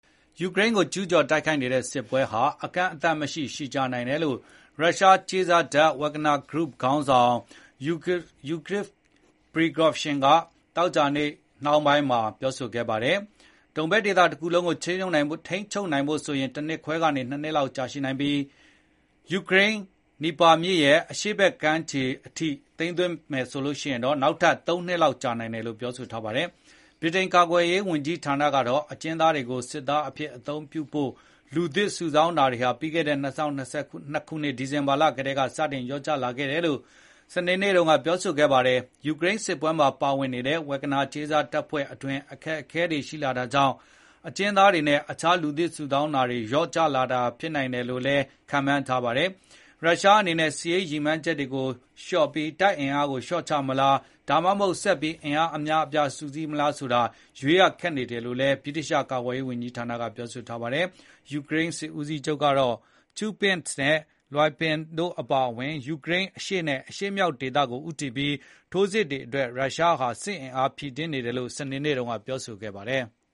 ယူကရိန်းကိုကျူးကျော်တိုက်ခိုက်နေတဲ့ စစ်ပွဲဟာကန့်အသတ်မရှိ ရှည်ကြာနိုင်တယ်လို့ ရုရှားကြေးစားတပ် Wagner Group ခေါင်းဆောင် Yevgeny Prigozhin ကသောကြာနေ့နှောင်းပိုင်းမှာ တွက်ချက်ပြောဆိုခဲ့တယ်။ ဒုန်ဘက်ဒေသတခုလုံးကိုထိန်းချုပ်နိုင်ဖို့ဆိုရင် ၁ နှစ်ခွဲကနေ ၂ နှစ်လောက်အထိကြာရှည်နိုင်ပြီး ယူကရိန်း Dnieper ဖြစ်ရဲ့ အရှေ့ဘက်ခြမ်းနယ်မြေချဲ့အထိ ချဲ့ထွင်သိမ်းပိုက်ဖို့ဆိုရင် နောက်ထပ် ၃ နှစ် လောက် ကြာနိုင် တယ်လို့ပြောဆိုပါတယ်။ ဗြိတိန်ကာကွယ်ရေးဝန်ကြီးဌာနကတော့ အကျဉ်းသားတွေကို စစ်သားအဖြစ်အသုံးပြုဖို့ လူသစ်စုဆောင်းတာတွေဟာ ပြီးခဲ့တဲ့ ၂၀၂၂ ခုနှစ်၊ ဒီဇင်ဘာလကတည်းကစတင် လျှော့ကျလာခဲ့တယ်လို့ စနေနေ့တုန်းက ပြောဆိုခဲ့ပါတယ်။ ယူကရိန်းစစ်ပွဲမှာပါဝင်နေတဲ့ Wagner ကြေးစားတပ်ဖွဲ့အတွင်း အခက်အခဲတွေရှိလာတာကြောင့် အကျဉ်းသားတွေနဲ့ အခြားလူသစ်စုဆောင်းတာတွေ လျော့ကျလာတာဖြစ်နိုင်တယ်လို့လည်း ခန့်မှန်းထားပါတယ်။ ရုရှားအနေနဲ့ စစ်ရေးရည်မှန်းချက်တွေကိုလျှော့ပြီး တပ်အင်အားကိုလျှော့ချမလား၊ ဒါမှမဟုတ် ဆက်ပြီး အင်အားအများအပြားစုစည်းမလားဆိုတာ ရွေးရခက်နေတယ်လို့လည်း ဗြိတိသျှကာကွယ်ရေးဝန်ကြီးဌာနက ပြောပါတယ်။ ယူကရိန်းစစ်ဦးစီးချုပ်ကတော့ Kupiansk, Lyman တို့အပါအဝင် ယူကရိန်းအရှေနဲ့ အရှေ့မြောက်ဒေသကို ဦးတည်ပြီး ထိုးစစ်တွေအတွက် ရုရှားဟာ စစ်အင်အားဖြည့်တင်းနေတယ်လို့ စနေနေ့ကပြောဆိုခဲ့ပါတယ်။